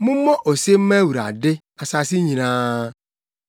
Mommɔ ose mma Awurade, asase nyinaa.